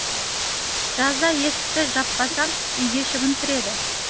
жазда есікті жаппасам үйге шыбын кіреді